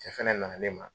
Cɛ fɛnɛ nana ne ma